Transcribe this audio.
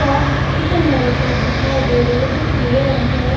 चार chicken lollipop दिखाई दे रहे जो पीले रंग के है।